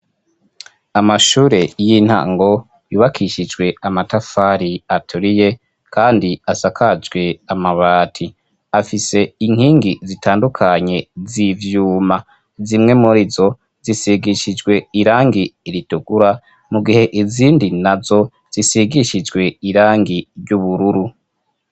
Amashure y'intango yubakishijwe amatafari aturiye, kandi asakajwe amabati. Afise inkingi zitandukanye z'ivyuma. Zimwe mur'izo zisigishijwe irangi ritukura, mu gihe izindi nazo zisigishijwe irangi ry'ubururu.